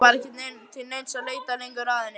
Það var ekki til neins að leita lengur að henni.